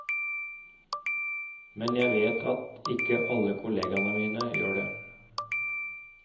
Men jeg vet at ikke alle kollegene mine gjør det.